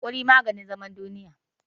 Hakuri maganin zaman duniya.